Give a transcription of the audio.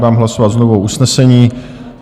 Dám hlasovat znovu o usnesení.